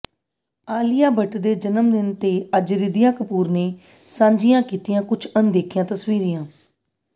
ਆਲੀਆ ਭੱਟ ਦੇ ਜਨਮਦਿਨ ਤੇ ਅੱਜ ਰਿਧੀਮਾ ਕਪੂਰ ਨੇ ਸਾਂਝੀਆਂ ਕੀਤੀਆਂ ਕੁੱਝ ਅਣਦੇਖੀਆਂ ਤਸਵੀਰਾਂ